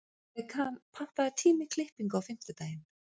Bekan, pantaðu tíma í klippingu á fimmtudaginn.